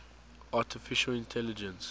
artificial intelligence